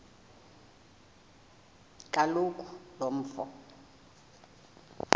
kaloku lo mfo